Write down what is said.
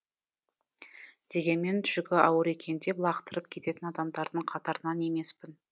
дегенмен жүгі ауыр екен деп лақтырып кететін адамдардың қатарынан емеспін